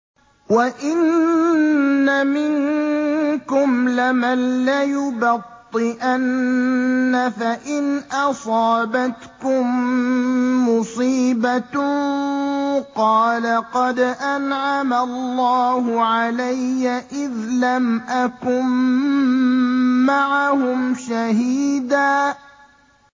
وَإِنَّ مِنكُمْ لَمَن لَّيُبَطِّئَنَّ فَإِنْ أَصَابَتْكُم مُّصِيبَةٌ قَالَ قَدْ أَنْعَمَ اللَّهُ عَلَيَّ إِذْ لَمْ أَكُن مَّعَهُمْ شَهِيدًا